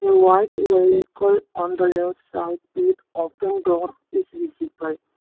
white vehicle on the left side with open door is visible.